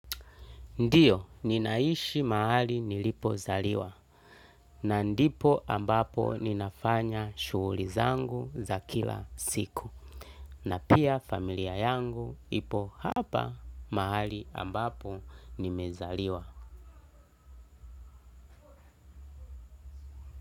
Ndiyo ninaishi mahali nilipozaliwa na ndipo ambapo ninafanya shughuli zangu za kila siku na pia familia yangu ipo hapa mahali ambapo nimezaliwa.